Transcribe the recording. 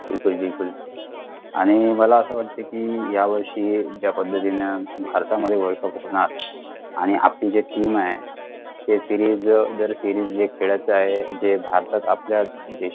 बिलकुल बिलकुल आणि मला असं वाटत कि या वर्षी ज्या पद्धतीने भारतामध्ये world cup असणार आणि आपली जी team आहे ते series जे series खेळतं आहे जे भारतात आपल्या